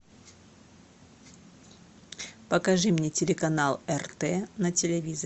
покажи мне телеканал рт на телевизоре